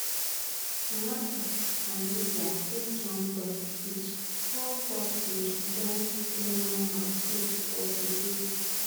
rwanda and libya get one point each all four teams don play one match each for di group